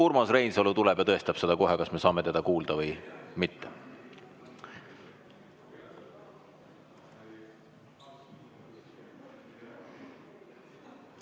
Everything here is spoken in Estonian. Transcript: Urmas Reinsalu tuleb ja tõestab seda kohe, kas me saame teda kuulda või mitte.